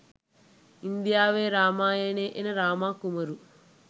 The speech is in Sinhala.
ඉන්දියාවේ රාමායනේ එන රාම කුමරු